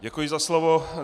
Děkuji za slovo.